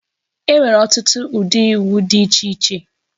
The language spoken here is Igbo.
Enwere ọtụtụ ụdị iwu dị iche iche